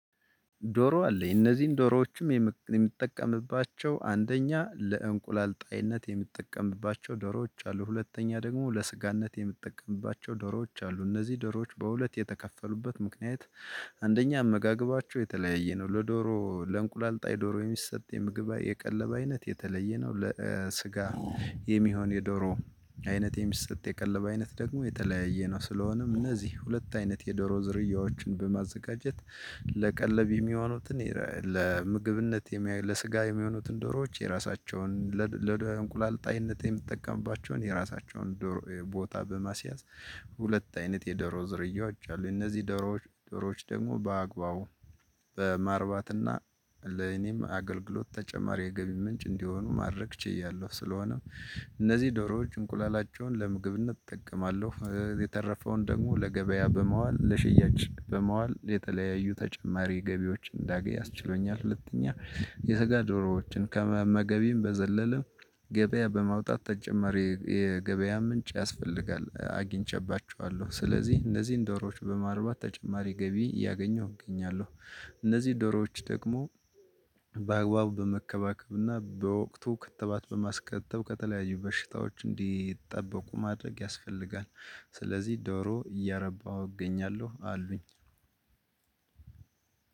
ዶሮ አለኝ እነዚህን ዶሮዎችም የምጠቀምባቸው አንደኛ ለእንቁላል አይነት የምጠቀምባቸው ዶሮዎች አሉ ሁለተኛ ደግሞ ለስጋነት የምጠቀምባቸው ዶሮዎች አሉ እነዚህ ዶሮዎች በሁለት የተከፈሉበት ምክንያት። አንደኛ አመጋገባቸው የተለያየ ነው ለዶሮ ለእንቁላል ጣይ ዶሮ የሚሰጥ የምግብ አይነ የቀለብ አይነት የተለየ ነው ለስጋ የሚሆን የዶሮ አይነት የሚሰጥ የቀለብ አይነት ደግሞ የተለያየ ነው። ስለሆነም እነዚህ ሁለት አይነት የዶሮ ዝርያዎችን በማዘጋጀት ለቀለብ የሚሆኑትን ለምግብነት ለስጋ የሚሆኑትን ዶሮዎች የራሳቸውን ለእንቁላል ጣይነት የምጠቀምባቸውን የራሳቸውን ዶሮ ቦታ በማስያዝ። ሁለት አይነት የዶሮ ዝርያዎች አሉ። እነዚህ ዶሮዎች ደግሞ በአግባቡ በማርባት እና ለኔም አገልግሎት ተጨማሪ የገቢ ምንጭ እንዲሆኑ ማድረግ ችያለሁ። ስለሆነም እነዚህ ዶሮ እንቁላላቸውን ለምግብነት እጠቀማለሁ የተረፈውን ደግሞ ለገበያ በማዋል ለሽያጭ በማዋል የተለያዩ ተጨማሪ ገቢዎች እንዳገኝ አስችሎኛል። ሁለተኛ የስጋ ዶሮዎችን ከመመገቤም በዘለለ ገበያ በማውጣት ተጨማሪ የገበያ ምንጭ ያስፈልጋል አግኝቼባቸኋለሁ። ስለዚህ እነዚህን ዶሮዎች በማርባት ተጨማሪ ገቢ እያገኘው እገኛለሁ። እነዚህ ዶሮዎች ደግሞ በአግባቡ በመከባከብ እና በወቅቱ ክትባት በማስከተብ ከተለያዩ በሽታዎች እንዲጠበቁ ማድረግ ያስፈልጋል። ስለዚህ ዶሮ እያረባሁ እገኛለሁ አሉኝ።